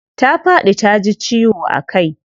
Ta faɗi taji ciwo a kai.